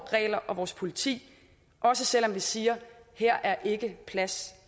regler og vores politi også selv om vi siger at her er ikke plads